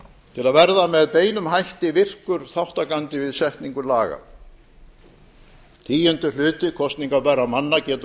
til að verða með beinum hætti virkur þátttakandi við setningu laga tíundi hluti kosningabærra manna getur